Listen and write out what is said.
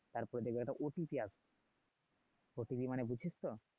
তারপর দেখবি একটা আসবে মানে বুজছিস তো